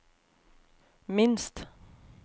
minst